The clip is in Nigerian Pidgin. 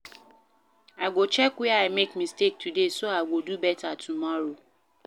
I go check where I make mistake today so I go do beta tomorrow.